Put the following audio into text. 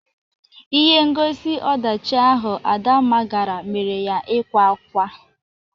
Ihe ngosi ọdachị ahụ Adamma gara mere ya ịkwa akwa.